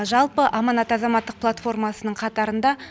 жалпы аманат азаматтық платформасының қатарында